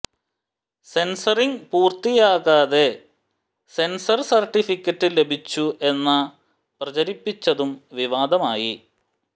censoring പൂര്ത്തിയാകാതെ censor certificate ലഭിച്ചു എന്ന പ്രചരിപ്പിച്ചതും വിവാദമായി